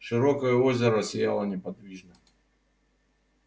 широкое озеро сияло неподвижно